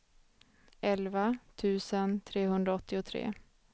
elva tusen trehundraåttiotre